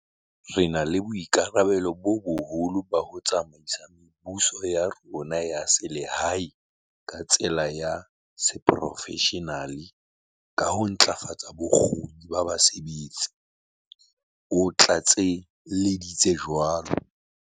"Re na le boikarabello bo boholo ba ho tsamaisa mebuso ya rona ya selehae ka tsela ya seporofeshenale ka ho ntlafatsa bokgoni ba basebetsi," o tlatselleditse jwalo.